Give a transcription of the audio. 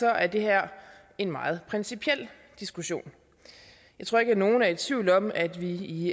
er det her en meget principiel diskussion jeg tror ikke at nogen er i tvivl om at vi i